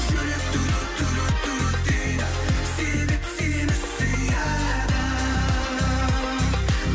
жүрек дейді себеп сені сүйеді